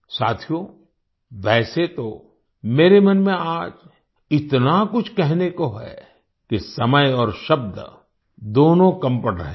साथियो वैसे तो मेरे मन में आज इतना कुछ कहने को है कि समय और शब्द दोनों कम पड़ रहे हैं